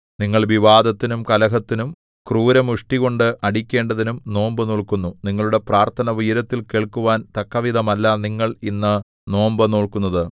നിങ്ങൾ വിവാദത്തിനും കലഹത്തിനും ക്രൂരമുഷ്ടികൊണ്ട് അടിക്കേണ്ടതിനും നോമ്പു നോല്ക്കുന്നു നിങ്ങളുടെ പ്രാർത്ഥന ഉയരത്തിൽ കേൾക്കുവാൻ തക്കവിധമല്ല നിങ്ങൾ ഇന്ന് നോമ്പു നോല്ക്കുന്നത്